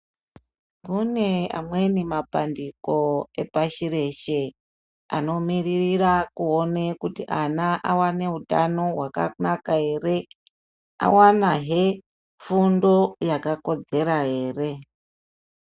Mune amweni mapandiko epashi reshe, anomiririra kuona kuti ana awane hutano hwakanaka ere, awanahe fundo yakakodzera ere.